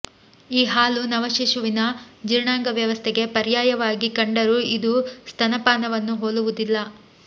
ಈ ಹಾಲು ನವ ಶಿಶುವಿನ ಜೀರ್ಣಾಂಗ ವ್ಯವಸ್ಥೆಗೆ ಪರ್ಯಾಯವಾಗಿ ಕಂಡರೂ ಇದು ಸ್ತನಪಾನವನ್ನು ಹೋಲುವುದಿಲ್ಲ